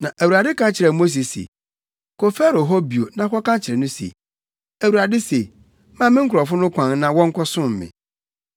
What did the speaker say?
Na Awurade ka kyerɛɛ Mose se, “Kɔ Farao hɔ bio na kɔka kyerɛ no se, ‘ Awurade se, Ma me nkurɔfo no kwan na wɔnkɔsom me.